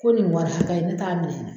Ko nin bɔɔra hakɛ in ne t'a minɛ.